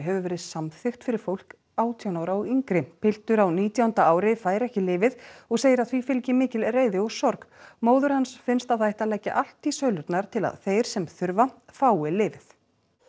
hefur verið samþykkt fyrir fólk átján ára og yngra piltur á nítjánda ári fær ekki lyfið og segir að því fylgi mikil reiði og sorg móður hans finnst að það ætti að leggja allt í sölurnar til að þeir sem þurfa fái lyfið